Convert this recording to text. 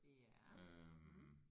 Ja mh